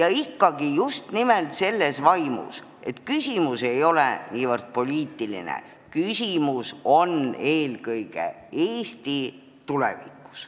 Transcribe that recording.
ja ikka just nimelt selles vaimus, et küsimus ei ole poliitiline, küsimus on eelkõige Eesti tulevikus.